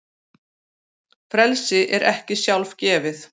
Frelsi er ekki sjálfgefið.